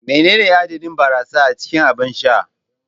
Menene adadin barasa a cikin abin sha?